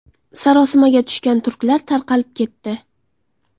Sarosimaga tushgan turklar tarqalib ketdi.